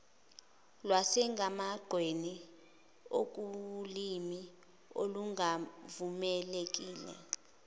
lwasemgwaqeni okuwulimi olungavumelekile